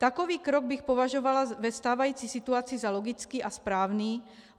Takový krok bych považovala ve stávající situaci za logický a správný.